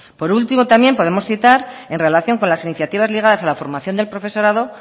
por último también podemos citar en relación con las iniciativas ligadas a la formación del profesorado